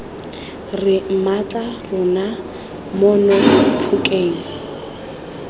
re mmatla rona mono phokeng